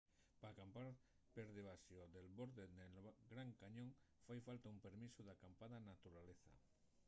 p’acampar per debaxo del borde nel gran cañón fai falta un permisu d’acampada na naturaleza